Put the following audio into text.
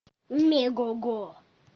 мегого